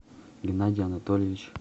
геннадий анатольевич